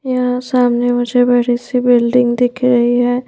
यहां सामने मुझे बड़ी सी बिल्डिंग दिख रही है ।